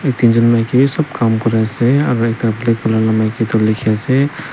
tinjun maikiwi sob kam kuri asey aro ekta black wala la maiki du likhi asey.